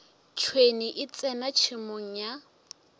tšhwene e tsena tšhemong ya